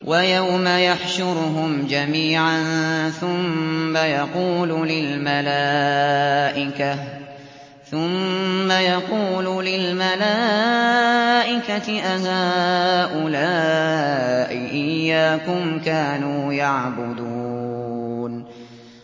وَيَوْمَ يَحْشُرُهُمْ جَمِيعًا ثُمَّ يَقُولُ لِلْمَلَائِكَةِ أَهَٰؤُلَاءِ إِيَّاكُمْ كَانُوا يَعْبُدُونَ